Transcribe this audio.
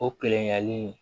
O kelenyali